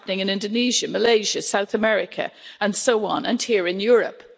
It is happening in Indonesia, Malaysia, South America and so on, and here in Europe.